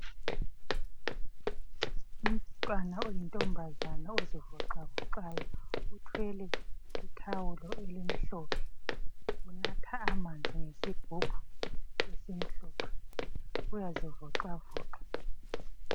Umntwana oyintombazana ozivoxavoxayo. Uthwele ithawulo elimhlophe unatha amanzi ngesigubhu esimhlophe, uyazivoxavoxa.